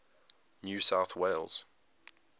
new south wales